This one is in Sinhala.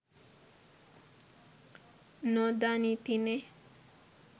නොදනිති නෙ